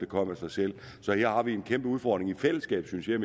kom af sig selv så her har vi en kæmpe udfordring med i fællesskab synes jeg